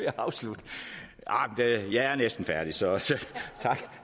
at afslutte jeg er næsten færdig så